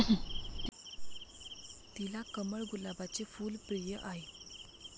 तिला कमळ, गुलाबाचे फुल प्रिय आहे.